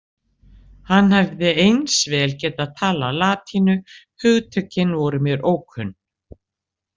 Hann hefði eins vel getað talað latínu, hugtökin voru mér ókunn.